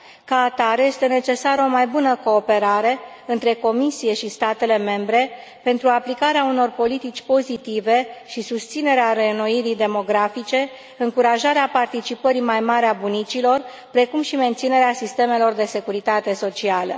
Ca atare, este necesară o mai bună cooperare între Comisie și statele membre pentru aplicarea unor politici pozitive și susținerea reînnoirii demografice, încurajarea participării mai mari a bunicilor, precum și menținerea sistemelor de securitate socială.